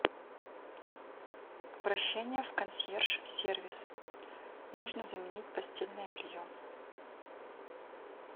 обращение в консьерж сервис нужно заменить постельное белье